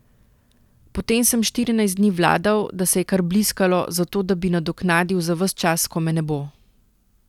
Potem sem štirinajst dni vladal, da se je kar bliskalo, zato da bi nadoknadil za ves čas, ko me ne bo.